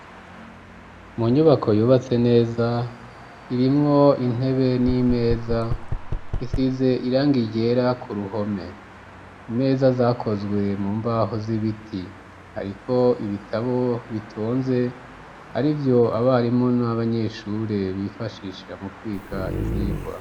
Mu nyubako yubatse neza irimwo intebe n'imeza isize irangi ryera ku ruhome imeza zakozwe mu mbaho z'ibiti ariko ibitabo bitonze ari vyo abarimu n'abanyeshure bifashisha mu kwiga ivyigwa.